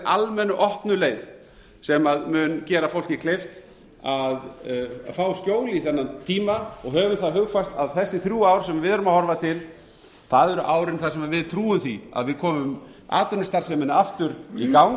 almennu opnu leið sem mun gera fólki kleift að fá skjól í þennan tíma höfum það hugfast að þessi þrjú ár sem við erum að horfa til það eru árin þar sem við trúum því að við komum atvinnustarfseminni aftur í